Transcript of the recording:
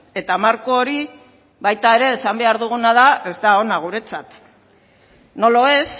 eta marko hori baita ere esan behar duguna da ez da ona guretzat no lo es